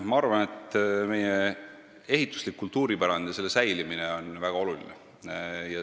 Ma arvan, et meie ehituslik kultuuripärand ja selle säilimine on väga oluline.